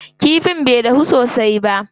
Kifin bai dahu sosai ba.